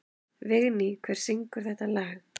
Vigný, hver syngur þetta lag?